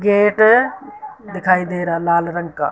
Gate दिखाई दे रहा लाल रंग का।